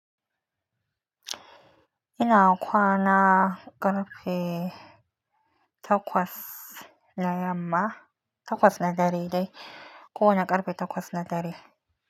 Ina kwana ƙarfe takwas na yamma, takwas na dare dai, ko wane ƙarfe takwas na dare.